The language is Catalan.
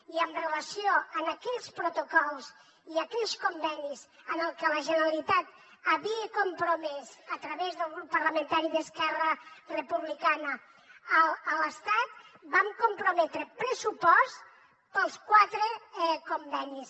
i amb relació a aquells protocols i aquells convenis en els que la generalitat havia compromès a través del grup parlamentari d’esquerra republicana l’estat vam comprometre pressupost per als quatre convenis